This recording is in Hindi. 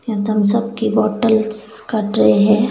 यहां थम्सअप की बॉटल्स का ट्रे है।